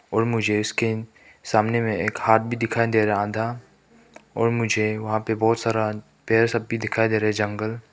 और मुझे इसके सामने मे एक हाथ भी दिखाई दे रहा आधा और मुझे वहां पे बहोत सारा पेड़ सब भी दिखाई दे रहे जंगल--